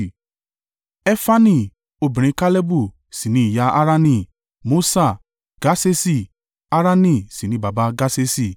Efani obìnrin Kalebu sì ni ìyá Harani, Mosa àti Gasesi, Harani sì ni baba Gasesi.